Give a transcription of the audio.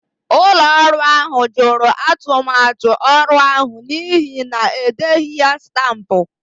Ụlọ ọrụ ahụ jụrụ atụmatụ ọrụ ahụ n'ihi na e deghị ya stampụ.